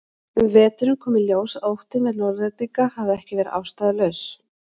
Um veturinn kom í ljós að óttinn við Norðlendinga hafði ekki verið ástæðulaus.